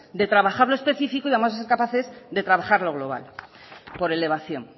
de trabajar lo específico y vamos a ser capaces de trabajar lo global por elevación